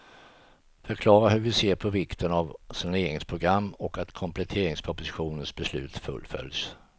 Förklara hur vi ser på vikten av saneringsprogrammet och att kompletteringspropositionens beslut fullföljs.